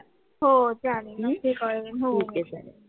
हो चालेल नक्की कळवेन